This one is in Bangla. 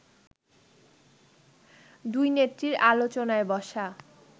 দুই নেত্রীর আলোচনায় বসা